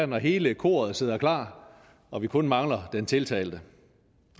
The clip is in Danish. når hele koret sad klar og vi kun manglede den tiltalte